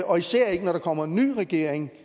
og især ikke når der kommer en ny regering